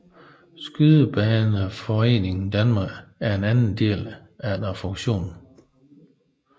Skydebaneforeningen Danmark er den anden del efter fusionen